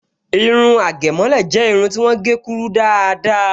Irun àgẹ̀mọ́lẹ̀ jẹ́ irun ti wọ́n gé kúrú dáadáa